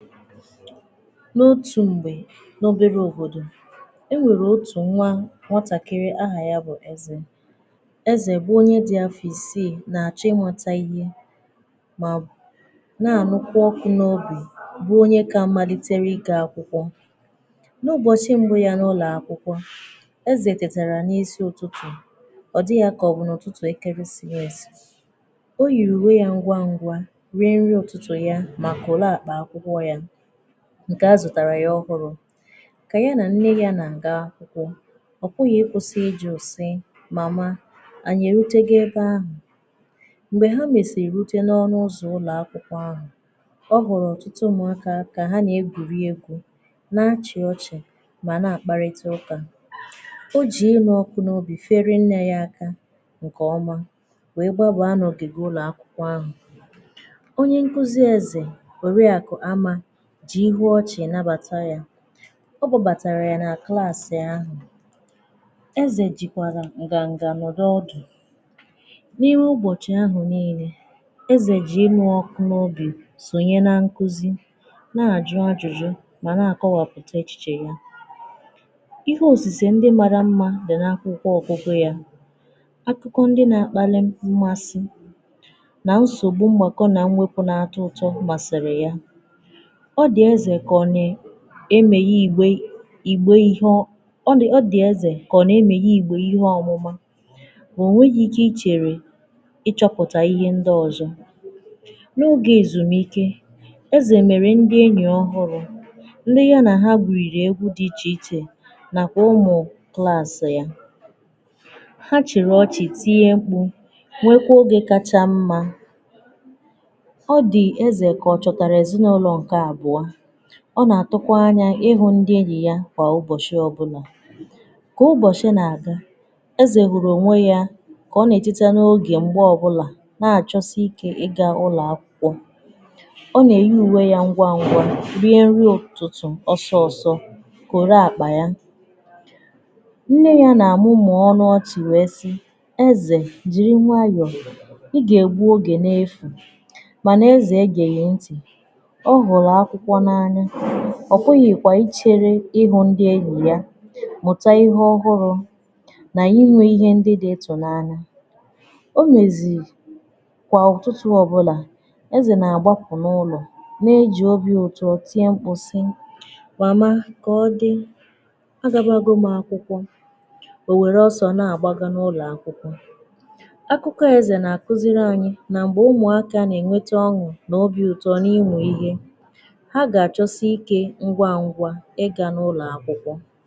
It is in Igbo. N’otù m̄gbè n’oberè òbodò e nwerè otù nwa nwatàkịrị̀, ahà yà bụ̀ ezè Ezè bụ̀ onyè dị̀ afọ̀ isiì na-achọ̀ ịmụtà ihe nà na-anụ̀kwà ọkụ̀ n’obi bụ̀ onye kà maliterè ịga akwụ̀kwọ̀ n’ubọchị̀ mbụ̀ yà n’ụlọakwụ̀kwọ̀ Ezè tetarà n’isi ụtụtụ̀ ọ dị̀ yà kà ọ bụ̀ n’ụtụtụ̀ ekeresìnmesì o yirì uwè yà ngwà ngwà werè ihe ụtụtụ̀ yà mà korò akpà akwụ̀kwọ̀ yà nkè azụ̀tarà yà ọhụrụ̀ kenyerè yà mmiri na ngà ahụ̀ okpùlù o kwesì ịjụ̀ sì nọ̀ na anyị̀ erutegò ebe ahụ̀ m̄gbè hà mesirì rutè n’ọnụ̀ ụzọ̀ ụlọ̀akwụ̀kwọ̀ ahụ̀ ha nwerè ọtụtụ ụmụ̀akà ka ha na-egwùriè egwù na-achị̀ ọchị̀ mà na-akpàrị̀tà ụkà ha jì inù ọkụ̀ n’obi ferè nne yà aka nkè ọmà wee gbabà n’ogigè ụlọ̀akwụ̀kwọ̀ ahụ̀ onyè nkuzì Ezè korò yà kụ̀ ama jirì ihu ọchị̀ nabàtà yà edùbàtarà yà na klasị̀ ahụ̀ Ezè jikwarà ngà ngà nọrọ̀ ọdụ̀ n’ihu ụbọchị̀ ahụ̀ niilè Ezè jì inù ọkụ̀ n’obi sonyè na nkuzì na-ajụ̀ ajụjụ̀ wee na-akọ̀wàpụtà echichè yà ihe osise ndị marà mmà dị̀ n’akwụ̀kwọ̀ odidè yà ikwukò ndị na-akpàlị̀ mmàsị̀ nà nsogbù m̄gbàkọ̀ na mwepù na-atọ̀ ụtọ̀ masịrị̀ yà ọ dị̀ Ezè kà ọ nē emèghì igbè igbè ihe ọ ndụ̀ ọdị̀ Ezè kà ọ na-emeghè igbè ihe ọmụ̀mụ̀ o nweghì ike icherè ịchọpụ̀tà ihe ndị̀ ọzọ̀ n’ogè ezumùike Ezè merè ndì enyì ọhụrụ̀ ndị̀ yànà hà gwurirì egwù dị̀ iche ichè nakwà ụmụ̀ dị asị̀ yà ha chị̀rị̀ ọchị̀ tiè m̄kpù hièkwà ogē kachà mmà ọ dị̀ Ezè kà ọ chọtarà ezinaụlọ̀ nke abụò ọ na-atụ̀kwà anya ịhụ̀ ndị enyì yà kwà ụbọchị̀ ọbụlà ka ụbọchị̀ na-agà Ezè hụ̀rụ̀ onwè yà kà ọ na-etetà n’ogē m̄gbè ọbụ̀là na-achọ̀sị̀ike ị ga n’ụlọ̀akwụ̀ kwọ̀ ọ na-eyì uwè yà ngwà ngwà rie nrì ụtụtụ̀ ọsọ̀ ọsọ̀ korò akpà yà nne na nnà mumụọ̀ ọnụ̀ ọchị̀ wee sị̀ Ezè jirì nwayọ̀ ị ga-egbù ogē n’efù mànà Ezè egeghì ntị̀ ọ hụrụ̀ akwụ̀kwọ̀ n’anya ọ pụ̀ghị̀kwà icherè ịhụ̀ ndị enyì yà mụtà ihe ọhụ̀rụ̀ n’inwè ihe ndị dị̀ ịtụ n’anya o mezì kwà ụtụtụ̀ ọbụlà Ezè na-agbapụ̀ n’ụlọ̀ na-ejì obi ụtọ̀ tiè m̄kpụ̀ sị̀ mama kà ọ dị̀ agàbàgo m akwụ̀kwọ̀ o werè ọsọ̀ na-gbagà n’ụlọ̀ akwụ̀kwọ̀ akụ̀kọ̀ Ezè na-akuzirì anyị̀ nà m̄gbè ụmụakà na-enwetà ọn̄ụ̀ n’obi ụtọ̀ na ịmụ̀ ihe ha gà achọ̀sị̀ ike ngwà ngwà ị gà n’ụlọ̀ akwụkwọ̀